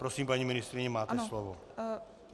Prosím, paní ministryně, máte slovo.